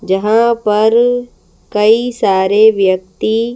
जहाँ पर कई सारे व्यक्ति--